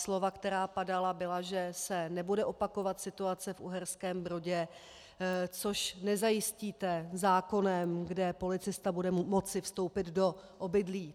Slova, která padala, byla, že se nebude opakovat situace v Uherském Brodě, což nezajistíte zákonem, kde policista bude moci vstoupit do obydlí.